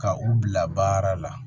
Ka u bila baara la